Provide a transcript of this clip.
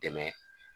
Dɛmɛ